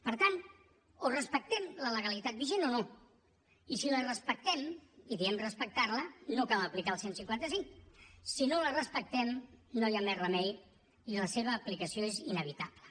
per tant o respectem la legalitat vigent o no i si la respectem i diem respectar la no cal aplicar el cent i cinquanta cinc si no la respectem no hi ha més remei i la seva aplicació és inevitable